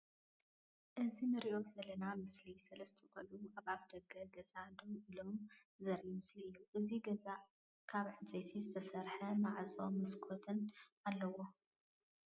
እዚ እንርእዮ ዘለና ምስሊ ሰለስተ ቆልዑ ኣብ ኣፋ ደገ ገዛ ደው ኢሎም ዘርኢ ምስሊ እዬ ። እዚ ገዛ ካብ እንፀይቲ ዝተሰርሐ ማዕፆን መስኮትን ኣለዎ ።